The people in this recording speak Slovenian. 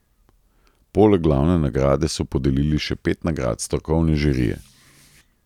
Poleg glavne nagrade so podelili še pet nagrad strokovne žirije.